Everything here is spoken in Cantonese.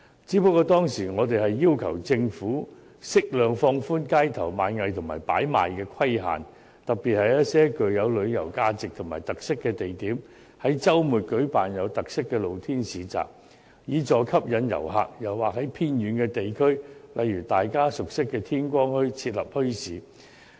不過，我們當時要求政府適量放寬街頭賣藝和擺賣規限，特別是在一些具旅遊價值和特色的地點，於周末舉辦有特色的露天市集，以助吸引遊客；又或在偏遠地區，例如大家熟悉的天光墟，設立墟市。